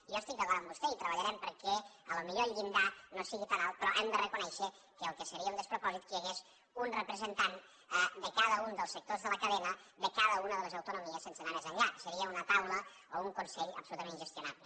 i jo estic d’acord amb vostè i treballarem perquè potser el llindar no sigui tan alt però hem de reconèixer que el que seria un despropòsit és que hi hagués un representant de cada un dels sectors de la cadena de cada una de les autonomies sense anar més enllà seria una taula o un consell absolutament ingestionable